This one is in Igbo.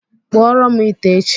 kpụọọrọ m ite echi.